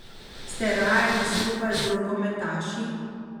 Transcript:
Ste rajali skupaj z rokometaši?